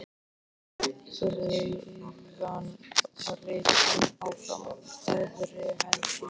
Fjárbreiðan var rekin áfram harðri hendi.